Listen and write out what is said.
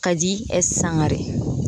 Kadi S. Sangare